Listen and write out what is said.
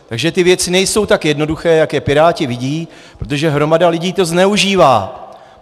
Takže ty věci nejsou tak jednoduché, jak je Piráti vidí, protože hromada lidí to zneužívá.